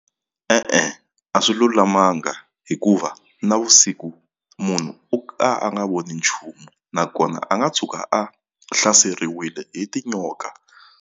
E-e a swi lulamanga hikuva navusiku munhu u ka a nga voni nchumu nakona a nga tshuka a hlaseriwile hi tinyoka.